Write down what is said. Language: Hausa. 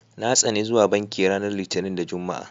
Na tsani zuwa banki ranar Litinin da Juma'a.